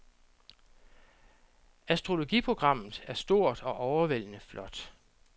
Astrologiprogrammet er stort og overvældende flot.